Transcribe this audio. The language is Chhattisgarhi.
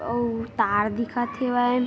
अउ तार दिखत हे हेवय।